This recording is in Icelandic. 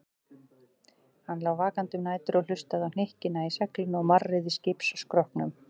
Hann lá vakandi um nætur og hlustaði á hnykkina í seglinu og marrið í skipsskrokknum.